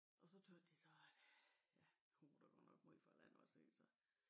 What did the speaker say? Og så tøs de så at øh ja hun var da godt nok meget fra landet ikke så